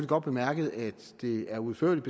godt bemærket at det er udførligt